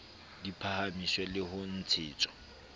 di phahamiswe le ho ntshetswa